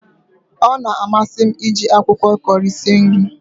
Ọ na amasi m iji akwụkwọ Kọri sie nri